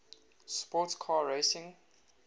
sports car racing